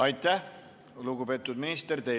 Aitäh, lugupeetud minister!